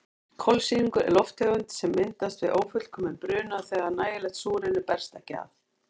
Kolsýrlingur er lofttegund sem myndast við ófullkominn bruna þegar nægilegt súrefni berst ekki að.